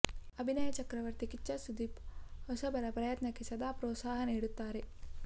ಅಭಿನಯ ಚಕ್ರವರ್ತಿ ಕಿಚ್ಚ ಸುದೀಪ್ ಹೊಸಬರ ಪ್ರಯತ್ನಕ್ಕೆ ಸದಾ ಪ್ರೋತ್ಸಾಹ ನೀಡುತ್ತಾರೆ